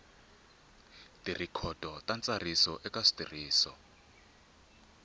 tirhikhodo ta ntsariso eka switirhiso